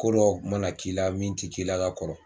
Ko dɔ mana k'i la min tɛ k'i la ka kɔrɔ